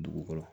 Dugu kɔrɔ